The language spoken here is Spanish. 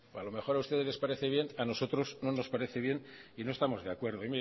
a lo mejor a ustedes les parece bien pero a nosotros no nos parece bien y no estamos de acuerdo